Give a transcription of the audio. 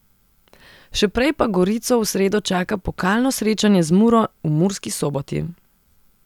Še prej pa Gorico v sredo čaka pokalno srečanje z Muro v Murski Soboti.